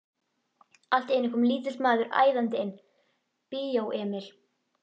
Allt í einu kom lítill maður æðandi inn: Bíó Emil.